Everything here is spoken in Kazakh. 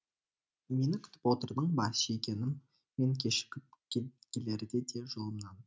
мені күтіп отырдың ба сүйгенім мен кешігіп келерде де жолымнан